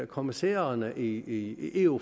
kommissærerne i eu